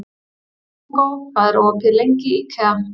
Diego, hvað er opið lengi í IKEA?